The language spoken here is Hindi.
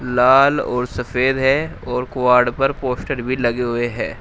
लाल और सफेद है और क्वाड पर पोस्टर भी लगे हुए हैं।